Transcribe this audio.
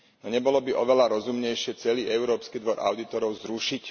Nebolo by oveľa rozumnejšie celý Európsky dvor audítorov zrušiť?